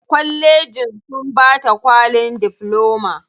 Kwallejin sun bata kwalin difloma.